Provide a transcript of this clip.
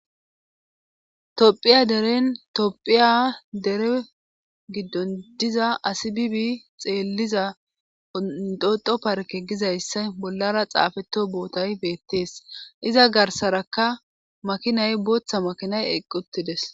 topphiya deren tophiya dere giddon diza asi bibi xeelliza ondoxo parke gizayssa bollara xaafeto bootay beettees iza garsarakka makinay booththa makinay eqq uttides